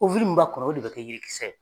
min b'a kɔnɔ o de bɛ kɛ yirikisɛ ye.